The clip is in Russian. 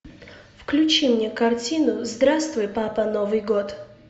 включи мне картину здравствуй папа новый год